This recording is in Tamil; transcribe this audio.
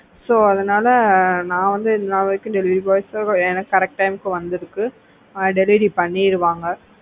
so அதனால நான் வந்து இதுவரைக்கும் delivery boys ல correct ஆ எனக்கு correct time வந்து delivery பண்ணிடுவாங்க.